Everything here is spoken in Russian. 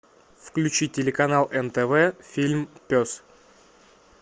включи телеканал нтв фильм пес